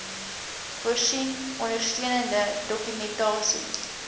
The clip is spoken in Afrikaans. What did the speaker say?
voorsien ondersteunende dokumentasie